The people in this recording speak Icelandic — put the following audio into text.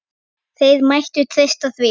Þeir mættu treysta því.